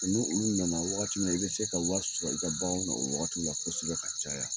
Ni olu nana wagati min na, i bɛ se ka wari sɔrɔ, i ka baganw na, o wagati la ko sibɛn ka caya.